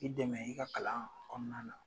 K'i dɛmɛ i ka kalan kɔnɔna na.